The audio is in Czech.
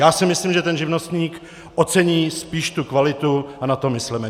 Já si myslím, že ten živnostník ocení spíš tu kvalitu, a na to mysleme.